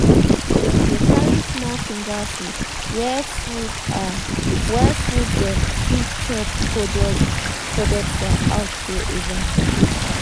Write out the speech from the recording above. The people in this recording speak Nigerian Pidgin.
dem they carry small finger food were food are were food dem fit chop coded coded for outdoor event.